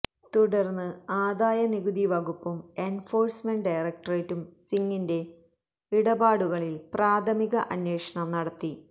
തുടര്ന്ന് ആദായ നികുതി വകുപ്പും എന്ഫോഴ്സ്മെന്റ് ഡയരക്ടറേറ്റും സിങിന്റെ ഇടപാടുകളില് പ്രാഥമിക അന്വേഷണം നടത്തി